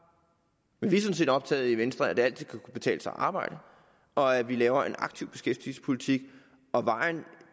men vi er sådan set optaget af i venstre at det altid skal kunne betale sig at arbejde og af at vi laver en aktiv beskæftigelsespolitik og vejen